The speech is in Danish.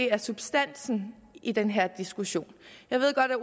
er substansen i den her diskussion jeg ved godt at